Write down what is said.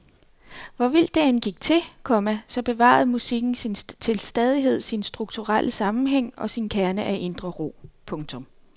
Hvor vildt det end gik til, komma så bevarede musikken til stadighed sin strukturelle sammenhæng og sin kerne af indre ro. punktum